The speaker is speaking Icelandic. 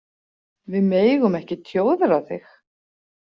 Við megum ekki tjóðra þig.